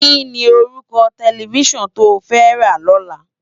Kini órúkò tèlèfisán tó fè rá lòlá?